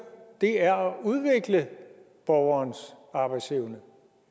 er at udvikle borgerens arbejdsevne